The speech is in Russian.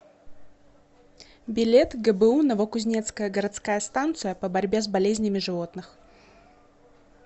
билет гбу новокузнецкая городская станция по борьбе с болезнями животных